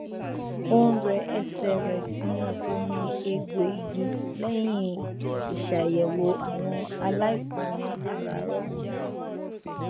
ó n rẹ ẹsẹ rẹ sínú omi egbò igi lẹyìn ìṣàyẹwò àwọn aláìsàn ní àràárọ